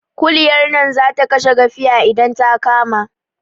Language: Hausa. Kuliyar nan zata kashe gafiya idan ta kama